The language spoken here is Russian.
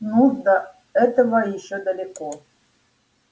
ну до этого ещё далеко